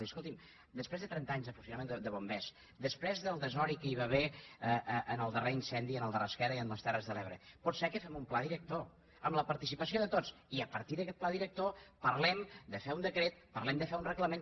i escolti’m després de trenta anys de funcionament de bombers després del desori que hi va haver en el darrer incendi en el de rasquera a les terres de l’ebre potser que fem un pla director amb la participació de tots i a partir d’aquest pla director parlem de fer un decret parlem de fer un reglament